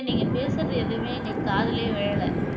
நீங்க பேசுறது எதுமே எங்களுக்கு காதுலயே விழல